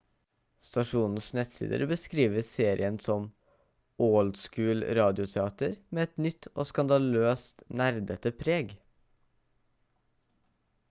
stasjonens nettsider beskriver serien som «old school-radioteater med et nytt og skandaløst nerdete preg!»